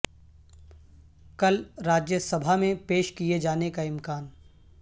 کل راجیہ سبھا میں پیش کئے جانے کا امکان